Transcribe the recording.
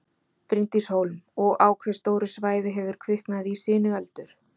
Bryndís Hólm: Og á hve stóru svæði hefur kviknað í sinueldur?